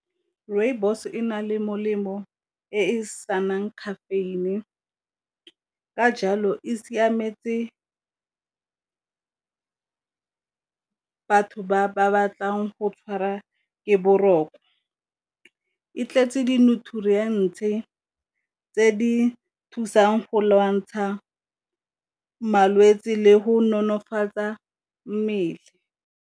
Rooibos e na le molemo e e senang caffeine, ka jalo e siametse batho ba ba batlang go tshwara ke boroko. E tletse di tse di thusang go lwantsha malwetse le go nonofatsa mmele.